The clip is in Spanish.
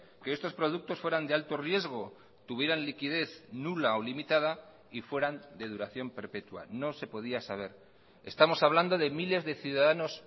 que estos productos fueran de alto riesgo tuvieran liquidez nula o limitada y fueran de duración perpetua no se podía saber estamos hablando de miles de ciudadanos